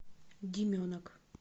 деменок